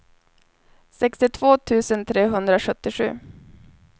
sextiotvå tusen trehundrasjuttiosju